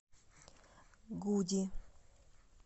гуди